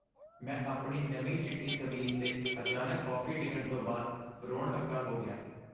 ਮੈਂ ਆਪਣੀ ਨਵੀਂ ਚਿੱਟੀ ਕਮੀਜ਼ 'ਤੇ ਅਚਾਨਕ ਕੌਫ਼ੀ ਡਿੱਗਣ ਤੋਂ ਬਾਅਦ ਰੋਣ ਹੱਕਾ ਹੋ ਗਿਆ।